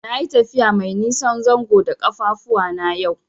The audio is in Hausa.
Nayi tafiya mai nisan zango da ƙafafuwana yau.